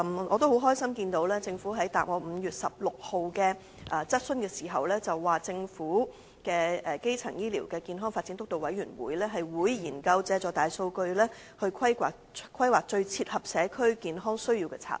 我很高興，政府在答覆我在5月16日的書面質詢時表示，政府成立的基層醫療健康發展督導委員會會研究借助大數據規劃最切合社區健康需要的策略。